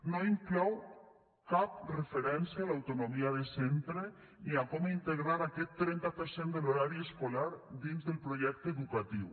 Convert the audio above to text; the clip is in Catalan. no inclou cap referència a l’autonomia de centre ni a com integrar aquest trenta per cent de l’horari escolar dins del projecte educatiu